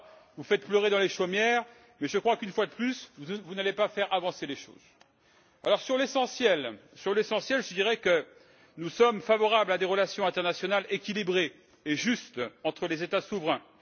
Vous faites pleurer dans les chaumières, mais je crois qu'une fois de plus, vous n'allez pas faire avancer les choses. Sur l'essentiel, je dirais que nous sommes favorables à des relations internationales équilibrées et justes entre les États souverains.